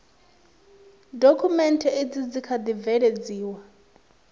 dokhumenthe izi dzi kha ḓi bveledziwa